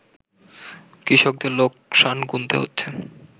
কৃষকদের লোকসান গুনতে হচ্ছে